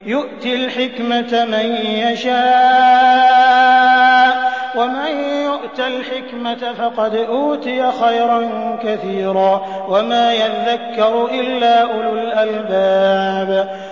يُؤْتِي الْحِكْمَةَ مَن يَشَاءُ ۚ وَمَن يُؤْتَ الْحِكْمَةَ فَقَدْ أُوتِيَ خَيْرًا كَثِيرًا ۗ وَمَا يَذَّكَّرُ إِلَّا أُولُو الْأَلْبَابِ